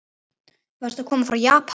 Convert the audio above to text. Varstu að koma frá Japan?